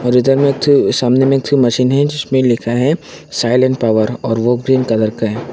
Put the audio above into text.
और इधर में एक ठे सामने में एक ठो मशीन है जिसमें लिखा है साईलेन पॉवर और वो ग्रीन कलर का है।